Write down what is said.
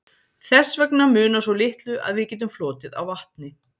þess vegna munar svo litlu að við getum flotið á vatni